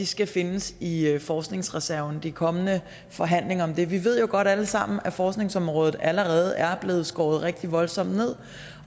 skal findes i forskningsreserven ved de kommende forhandlinger om den vi ved jo godt alle sammen at forskningsområdet allerede er blevet skåret rigtig voldsomt ned